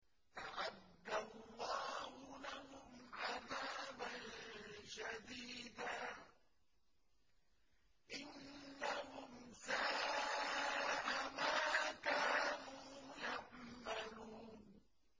أَعَدَّ اللَّهُ لَهُمْ عَذَابًا شَدِيدًا ۖ إِنَّهُمْ سَاءَ مَا كَانُوا يَعْمَلُونَ